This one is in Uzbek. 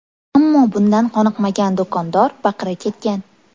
Ammo bundan qoniqmagan do‘kondor baqira ketgan.